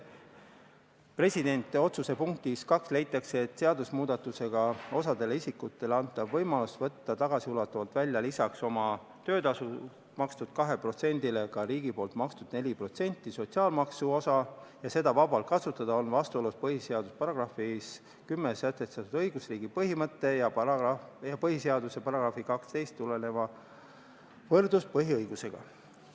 Presidendi otsuse punktis 2 leitakse, et seaduse muutmisega osale isikutele antav võimalus võtta tagasiulatuvalt välja lisaks oma töötasult makstud 2%-le ka riigi makstud 4% sotsiaalmaksu osa ja seda vabalt kasutada on vastuolus põhiseaduse §-s 10 sätestatud õigusriigi põhimõtte ja põhiseaduse §-st 12 tuleneva võrdsuspõhiõigusega.